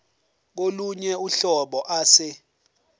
kolunye uhlobo ase